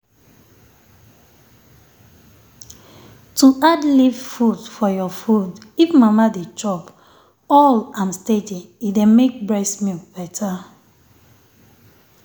to add leaf food for your food if mama dey chop all am steady e dey make breast milk better.